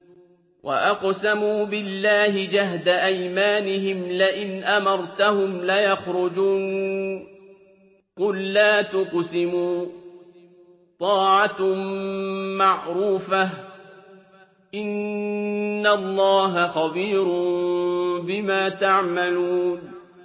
۞ وَأَقْسَمُوا بِاللَّهِ جَهْدَ أَيْمَانِهِمْ لَئِنْ أَمَرْتَهُمْ لَيَخْرُجُنَّ ۖ قُل لَّا تُقْسِمُوا ۖ طَاعَةٌ مَّعْرُوفَةٌ ۚ إِنَّ اللَّهَ خَبِيرٌ بِمَا تَعْمَلُونَ